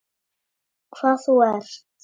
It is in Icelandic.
Hvað þú ert.